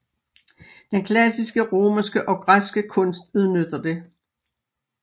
Den klassiske romerske og græske kunst udnytter det